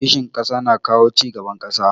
Kishin ƙasa na kawo cigaban ƙasa.